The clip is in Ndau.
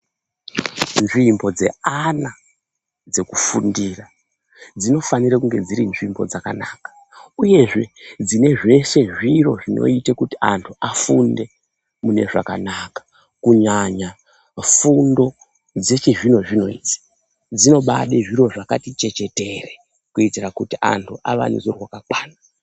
Nzvimbo dzeana dzekufundira, dzinofanira kunge dziri nzvimbo dzakanaka, uyezve dzine zveshe zviro zvinoite kuti antu afunde mune zvakanaka. Kunyanya fundo dzechizvino zvino idzi, dzinobade zviro zvakati chechetere kuitire kuti antu awa neruzivo rwakakwana.